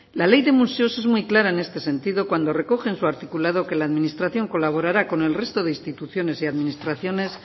la ley de museos es muy clara en este sentido cuando recoge en su articulado que la administración colaborará con el resto de instituciones y administraciones